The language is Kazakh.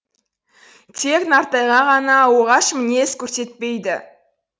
тек нартайға ғана оғаш мінез көрсетпейді